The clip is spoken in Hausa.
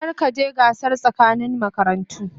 Kar ka je gasar tsakanin makarantu.